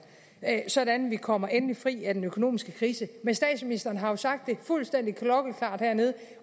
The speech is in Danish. sådan at vi kommer endelig fri af den økonomiske krise statsministeren har jo sagt det fuldstændig klokkeklart hernede